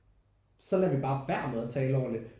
Så lader vi bare værd med at tale ordentligt